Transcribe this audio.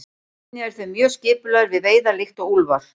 Einnig eru þeir mjög skipulagðir við veiðar líkt og úlfar.